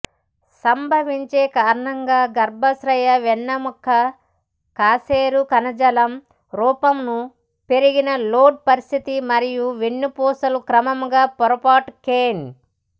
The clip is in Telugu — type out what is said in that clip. సంభవించే కారణంగా గర్భాశయ వెన్నెముక కశేరు కణజాలం రూపంను పెరిగిన లోడ్ పరిస్థితి మరియు వెన్నుపూసలు క్రమంగా పొరపాటు కెన్